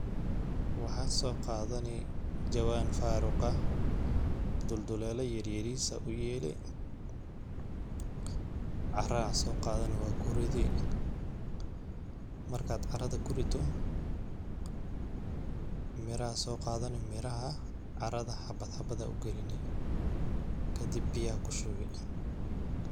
Waxaa soo qaadani jawaan faaruq ah dulduleela yaryariis aa uyeeli carra soo qadani waa kuridi ,markaad carrada ku rido ,miraa soo qaadani miraha carrrada xabad xabadaa u galini ,kadib biyaa ku shubi .